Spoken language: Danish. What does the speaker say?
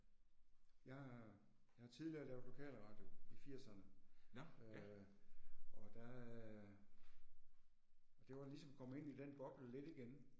Jeg jeg har tidligere lavet lokalradio i firserne, øh og der øh det var ligesom at komme ind i den boble lidt igen